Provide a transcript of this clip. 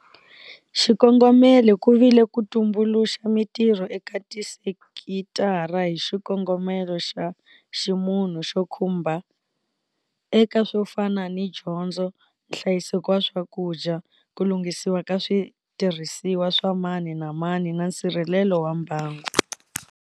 Xikongomelo ku vile ku tumbuluxa mitirho eka tisekitara hi xikongomelo xa ximunhu xo khumba eka swo fana ni dyondzo, nhlayiseko wa swakudya, ku lunghisiwa ka switirhisiwa swa mani na mani na nsirhelelo wa mbangu.